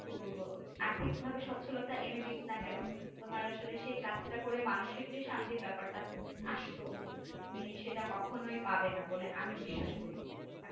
কি বলবো আর্থিক ভাবে সচলতা এনে দিক না কেনো তোমার আসলে সে কাজ টা করে মানুষিক যে শান্তির ব্যাপার টা আসতো তুমি সেটা কখনোই পাবে না বলে আমি বিশ্বাস করি